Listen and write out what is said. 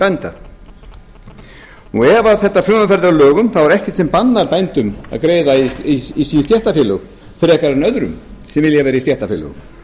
bænda ef þetta frumvarp verður að lögum er ekkert sem bannar bændum að greiða í sín stéttarfélög frekar en öðrum sem vilja vera í stéttarfélögum